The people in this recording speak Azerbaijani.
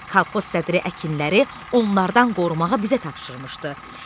Kolxoz sədri əkinləri onlardan qorumağa bizə tapşırmışdı.